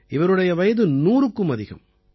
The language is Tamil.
இவருடைய வயது 100க்கும் அதிகம்